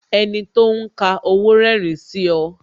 Enito ń ka owó rerin sí ọ